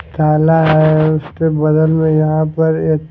काला है और इसके बगल में यहाँ पर एक--